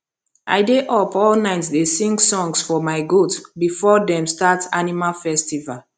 i dey up all night dey sing songs for my goat before them start animal festival